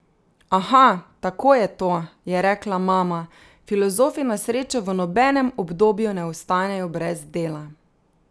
Aha, tako je to, je rekla mama, filozofi na srečo v nobenem obdobju ne ostanejo brez dela.